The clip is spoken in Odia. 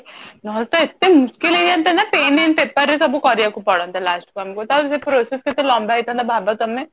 ନହେଲ ତ ଏତେ ମୁସ୍କିଲ ହେଇ ଯାନ୍ତି ନା pen and paper ସବୁ କରିଆକୁ ପଡନ୍ତା last କୁ ଆମକୁ ତାପରେ ସେ process କେତେ ଲମ୍ବା ହେଇଥାନ୍ତା ଭାବ ତମେ